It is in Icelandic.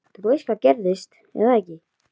Þú veist hvað gerðist, er það ekki?